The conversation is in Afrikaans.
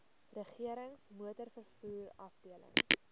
regerings motorvervoer afdeling